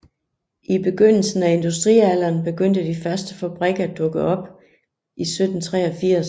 I begyndelsen af industrialderen begyndte de første fabrikker at dukke op i 1783